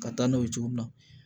Ka taa n'o ye cogo min na